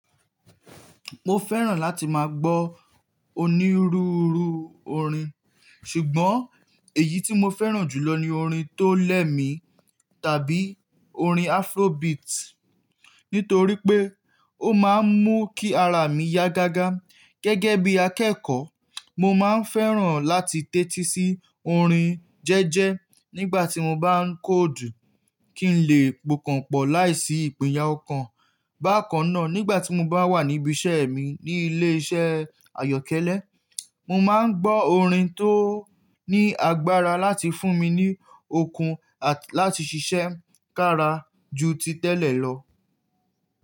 Mo fẹ́ràn láti máa gbọ́ onírúurú orin. Ṣùgbọ́n èyí tí mo fẹ́ràn jùlọ ni orin tó lẹ̀ mi tàbí orin Afrobeat nítorí pé ó máa ń mú kí ara mi yá gágá. Gẹ́gẹ́ bí akẹ́kọ̀ọ́, mo máa ń fẹ́ràn láti tẹ́tí sí orin jẹ́ẹ́jẹ́ nígbà tí mo bá ń kóòdù kí n lè pokànpọ̀ láìsí ìpínyà ọ̀kan. Bákan náà, nígbà tí mo bá wà níbí iṣẹ́ mi ní ilé iṣẹ́ àyọ́kẹ́lẹ́, mo máa ń gbọ́ orin tó ní agbára láti fún mi ní okun àti láti ṣiṣẹ́ kára ju ti tẹ́lẹ̀ lọ.